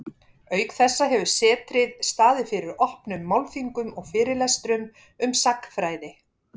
auk þessa hefur setrið staðið fyrir opnum málþingum og fyrirlestrum um sagnfræði